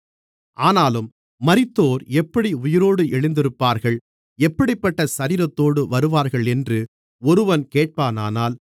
ஆனாலும் மரித்தோர் எப்படி உயிரோடு எழுந்திருப்பார்கள் எப்படிப்பட்ட சரீரத்தோடு வருவார்களென்று ஒருவன் கேட்பானானால்